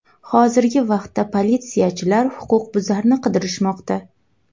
Hozirgi vaqtda politsiyachilar huquqbuzarni qidirishmoqda.